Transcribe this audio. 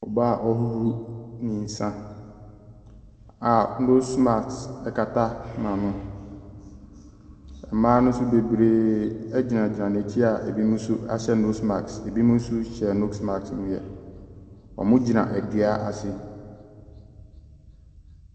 Ɔbaa a ɔrehohoro ne nsa a nose mask kata n'ano. Mmaa no nso bebree gyinagyina n'akyi a binom nso ahyɛ nose mask, binom nso hyɛ nose mask deɛ wɔgyina dua ase.